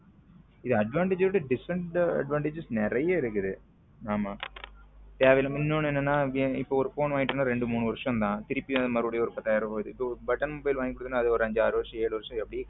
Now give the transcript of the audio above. இதுல advantage விட disadvantage நிறைய இருக்குது ஆமா தேவை இல்லாம இன்னும் ஒன்னு என்னன்னா இப்போ ஒரு போன் வந்கிடோம்ன ரெண்டு மூணு வருஷம் தான் திருப்பி மறுபடியும் ஒரு பத்தாயிரம் button mobile வாங்குன அது அஞ்சு ஆறு வருஷம் ஏழு வருஷம் அப்படியே கேடாகும்